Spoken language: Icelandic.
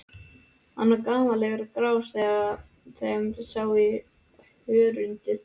Hann var gamallegur og grár þar sem sá í hörundið.